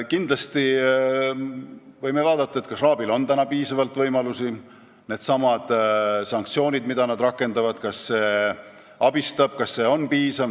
Kindlasti võime vaadata, kas RAB-il on piisavalt võimalusi, kas need sanktsioonid, mida nad rakendavad, aitavad ja kas need on piisavad.